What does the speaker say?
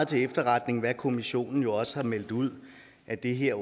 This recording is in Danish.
til efterretning hvad kommissionen også har meldt ud at det her